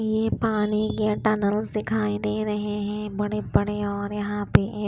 ये पानी नल दिखाई दे रहे हैं बड़े बड़े और यहां पे एक--